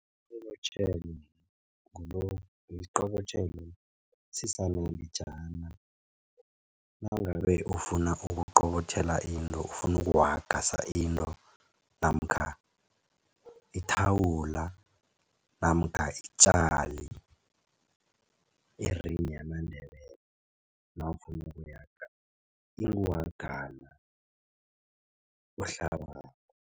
Isiqobotjhelo ngilokhu isiqobotjhelo sisanalijana nangabe ufuna ukuqobotjhela into ufuna ukuwaga sa into namkha ithawula namkha itjali yamaNdebele nawufuna ukuyaga inguhagana ohlabako.